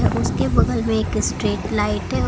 उसके बगल में एक स्ट्रीट लाइट है।